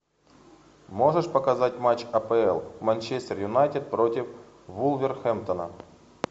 можешь показать матч апл манчестер юнайтед против вулверхэмптона